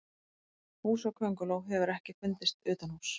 Húsakönguló hefur ekki fundist utanhúss.